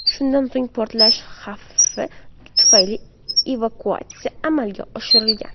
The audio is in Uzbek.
Shundan so‘ng portlash xavfi tufayli evakuatsiya amalga oshirilgan.